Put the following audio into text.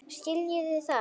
Skiljiði það?